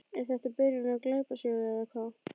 Er þetta byrjun á glæpasögu eða hvað?